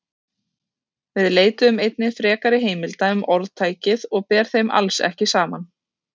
Við leituðum einnig frekari heimilda um orðtækið og ber þeim alls ekki saman.